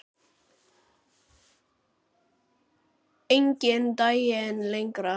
Enginn daginn lengir.